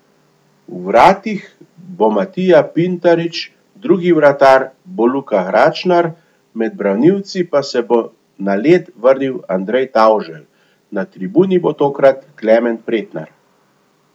V vratih bo Matija Pintarič, drugi vratar bo Luka Gračnar, med branilci pa se bo na led vrnil Andrej Tavželj, na tribuni bo tokrat Klemen Pretnar.